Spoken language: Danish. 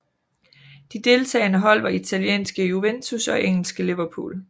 De deltagende hold var italienske Juventus og engelske Liverpool